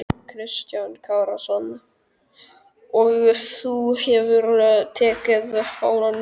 Kristján Kristjánsson: Og þú hefur tekið fánann með þér?